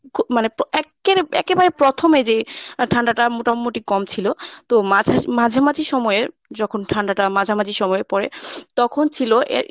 মানে এক্কেরে~ একেবারে প্রথমে যেই আহ ঠান্ডাটা মোটামুটি কম ছিল তো মাঝ~ মাঝামাঝি সময়ে যখন ঠান্ডাটা মাঝামাঝি সময়ে পরে তখন ছিল এর